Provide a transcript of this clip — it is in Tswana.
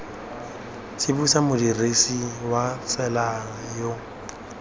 tsibosa modirisi wa tsela yo